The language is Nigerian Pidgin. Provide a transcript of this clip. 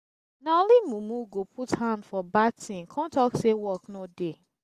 na only mumu go put hand for bad thing come talk say work no dey